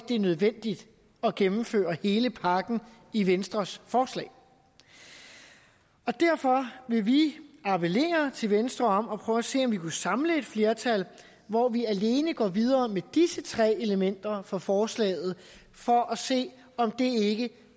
er nødvendigt at gennemføre hele pakken i venstres forslag derfor vil vi appellere til venstre om at prøve at se om vi kunne samle et flertal hvor vi alene går videre med disse tre elementer fra forslaget for at se om det ikke